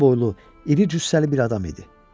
Uca boylu, iri cüssəli bir adam idi.